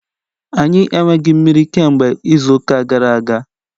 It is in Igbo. Anyị enweghị mmiri kemgbe izu ụka gara aga.